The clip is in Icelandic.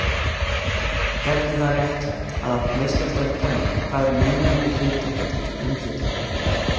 Hvernig er það réttlætt að meistaradeild kvenna fær mun minni hlutdeild í umfjöllun?